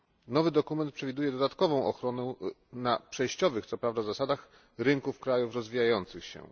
Nowy dokument przewiduje dodatkową ochronę na przejściowych co prawda zasadach rynków krajów rozwijających się.